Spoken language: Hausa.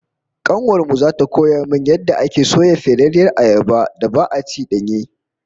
Kanuwar mu zata koya min yadda ake soya ferarriyar ayabar da ba'a ci danye?